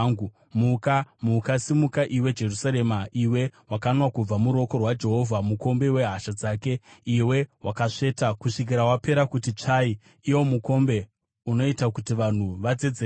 Muka, muka! Simuka, iwe Jerusarema, iwe wakanwa kubva muruoko rwaJehovha, mukombe wehasha dzake, iwe wakasveta kusvikira wapera kuti tsvai, iwo mukombe unoita kuti vanhu vadzedzereke.